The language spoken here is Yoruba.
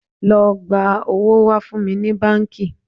Lọ gba owó wá fún mi ní báńkì